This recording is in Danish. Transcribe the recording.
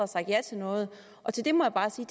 sagt ja til noget og til det må jeg bare sige